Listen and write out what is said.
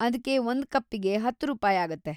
ಅದ್ಕೆ ಒಂದ್‌ ಕಪ್ಪಿಗೆ ಹತ್ತು ರೂಪಾಯಾಗತ್ತೆ.